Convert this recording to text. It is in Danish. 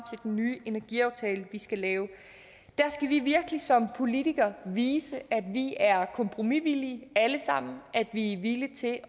den ny energiaftale vi skal lave der skal vi virkelig som politikere vise at vi er kompromisvillige alle sammen at vi er villige til